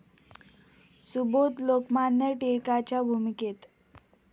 सुबोध 'लोकमान्य टिळकां'च्या भूमिकेत...